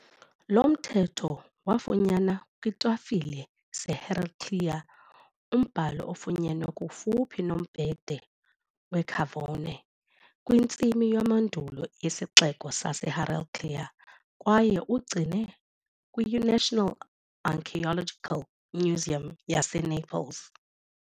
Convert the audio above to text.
Lo mthetho wafunyanwa kwiitafile zeHeraclea, umbhalo ofunyenwe kufuphi nombhede weCavone kwintsimi yamandulo yesixeko saseHeraclea kwaye ugcinwe kwi-National Archaeological Museum yaseNaples.